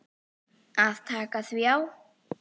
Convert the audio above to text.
Það taki því á.